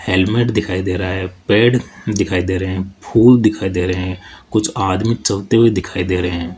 Helmet दिखाई दे रहा है पेड़ दिखाई दे रहे हैं फूल दिखाई दे रहे हैं कुछ आदमी चलते हुए दिखाई दे रहे हैं।